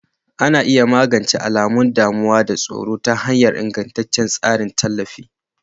Ana iya magance alamun damuwa da tsoro ta hanyar ingantaccen tsarin tallafi.